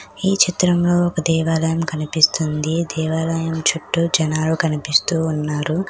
ఈ చిత్రంలో ఒక దేవాలయం కనిపిస్తుంది. దేవాలయం చుట్టూ జనాలు కనిపిస్తూ ఉన్నారు.